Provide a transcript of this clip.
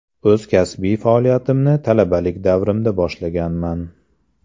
O‘z kasbiy faoliyatimni talabalik davrimda boshlaganman.